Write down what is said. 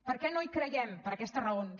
per què no hi creiem per aquestes raons